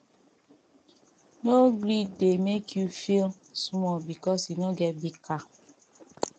no gree dem make you feel small because you no get big car